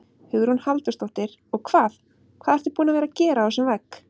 Hugrún Halldórsdóttir: Og hvað, hvað ertu búin að gera á þessum vegg?